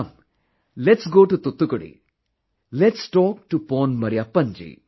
Come lets go to Thoothukudi ...lets talk to Pon Mariyyapan ji